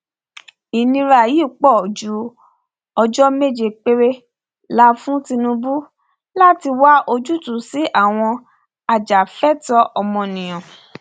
ìnira yìí pọ ju ọjọ méje péré la fún tinubu láti wá ojútùú sí i àwọn ajàfẹtọọ ọmọnìyàn